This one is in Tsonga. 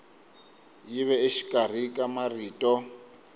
yi ve exikarhi ka marito